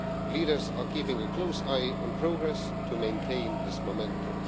Leaders are keeping a close eye on progress to maintain this momentum.